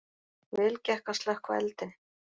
Vel gekk að slökkva eldinn